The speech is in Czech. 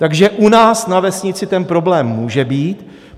Takže u nás na vesnici ten problém může být?